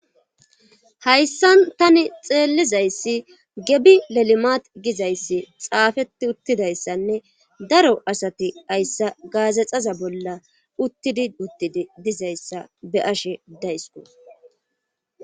hayssan tani xeellizayssi gebi lelimat gizayssi xaafeti uttidayssanne daro asati hayssa gaazexaza bolla uttidi uttidi dizayssa be'ashe daysko